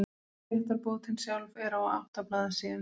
Réttarbótin sjálf er á átta blaðsíðum.